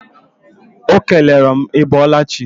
Ọ kelere m ị bọọla chi.